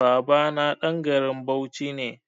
Babana ɗan garin Bauchi ne.